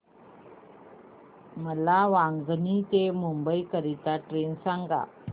मला वांगणी ते मुंबई करीता ट्रेन सांगा